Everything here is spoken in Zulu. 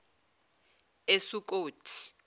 esukothi